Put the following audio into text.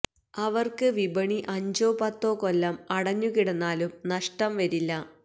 അവര്ക്ക് വിപണി അഞ്ചോ പത്തോ കൊല്ലം അടഞ്ഞു കിടന്നാലും നഷ്ടം വരില്ല